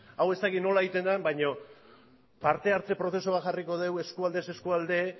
hau ez dakit nola egiten den baina parte hartze prozesu bat jarriko dugu eskualdez eskualde